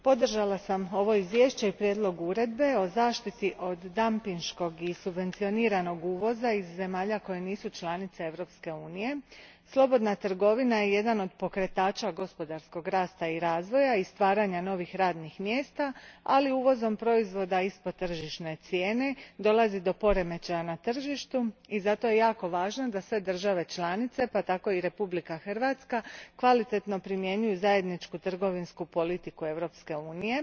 Gospođo predsjednice, podržala sam ovo izvješće i prijedlog Uredbe o zaštiti od dampinškog i subvencioniranog uvoza i zemalja koje nisu članice Europske unije. Slobodna je trgovina jedan od pokretača gospodarskog rasta i razvoja i stvaranja novih radnih mjesta, ali uvozom proizvoda ispod tržišne cijene dolazi do poremećaja na tržištu i zato je jako važno da sve države članice, pa tako i Republika Hrvatska, kvalitetno primjenjuju zajedničku trgovinsku politiku Europske unije.